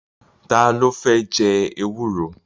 Ta ló fẹ́ jẹ ewúro?